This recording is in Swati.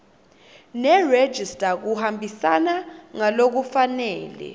nerejista kuhambisana ngalokufanele